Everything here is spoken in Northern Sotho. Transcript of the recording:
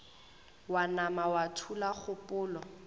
wa nama wa thula kgopolo